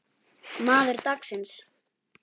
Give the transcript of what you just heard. Maður dagsins?